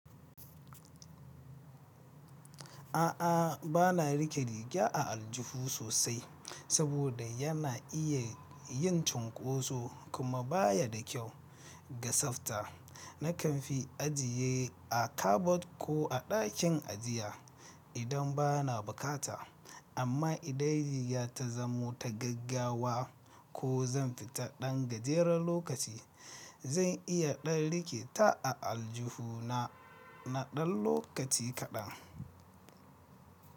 A'a, bana rike riga a aljihu sosai saboda yana iya yin cunkoso kuma baya da kyau ga tsafta. Nakan fi ajiye a kabod ko a dakin ajiya idan bana bukata. Amma idan rigar ta zamo ta gaggawa ko zan fita ɗan gajeren lokaci, zan iya ɗan rike ta a aljihu na na ɗan lokaci kaɗan.